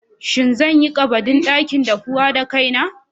Shin zan yi ƙabadin dakin daffuwan da kaina?